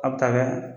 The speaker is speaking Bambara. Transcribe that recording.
A bɛ taa kɛ